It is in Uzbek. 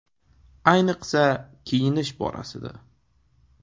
Ayniqsa, kiyinish borasida!